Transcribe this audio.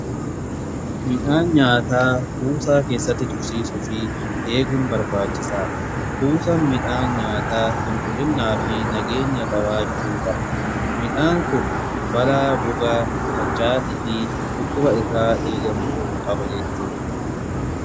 Midhaan nyaataa kuusaa keessatti tuksiisuu fi eeguun barbaachisaa. kuusan midhaan nyaataa qulqullinnaa fi nageenya kawaachuu qaba. Midhaan kun balaa goga tarchaatii fi dhukkuba irraa eegamu .